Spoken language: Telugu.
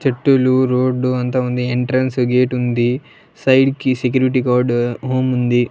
చెట్టులు రోడ్డు అంత ఉంది ఎంట్రన్స్ గేటుంది సైడ్ కి సెక్యూరిటీ గాడు హోముంది .